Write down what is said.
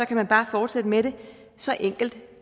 kan man bare fortsætte med det så enkelt